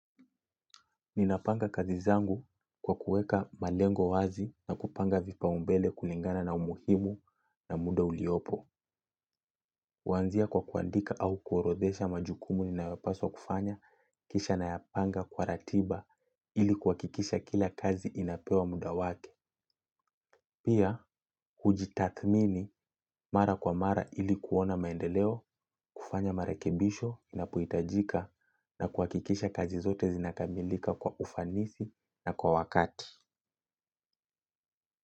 Ninapanga kazi zangu kwa kuweka malengo wazi na kupanga vipaumbele kulingana na umuhimu na muda uliopo. Huanzia kwa kuandika au kuorodhesha majukumu ninayopaswa kufanya kisha nayapanga kwa ratiba ili kuhakikisha kila kazi inapewa muda wake. Pia, hujitathmini mara kwa mara ili kuona maendeleo, kufanya marakebisho inapohitajika na kwa kuhakikisha kazi zote zinakamilika kwa ufanisi na kwa wakati.